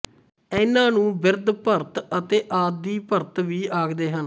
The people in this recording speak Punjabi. ਇਹਨਾਂ ਨੂੰ ਬਿਰਧ ਭਰਤ ਅਤੇ ਆਦਿ ਭਰਤ ਵੀ ਆਖਦੇ ਹਨ